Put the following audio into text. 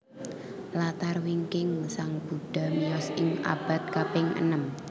Latar wingkingSang Buddha miyos ing abad kaping enem